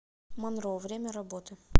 монро время работы